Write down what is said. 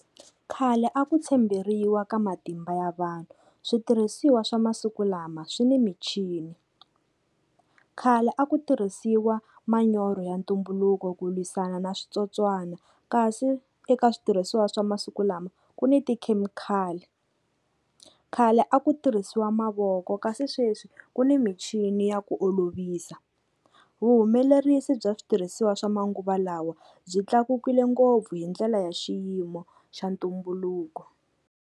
Khale a ku tshemberiwa ka matimba ya vanhu, switirhisiwa swa masiku lama swi ni michini. Khale a ku tirhisiwa manyoro ya ntumbuluko ku lwisana na switsotswana kasi eka switirhisiwa swa masiku lama ku ni tikhemikhali. Khale a ku tirhisiwa mavoko kasi sweswi ku ni michini ya ku olovisa. Vuhumelerisi bya switirhisiwa swa manguva lawa byi tlakukile ngopfu hi ndlela ya xiyimo xa ntumbuluko.